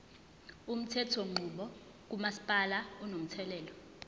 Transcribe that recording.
umthethonqubo kamasipala unomthelela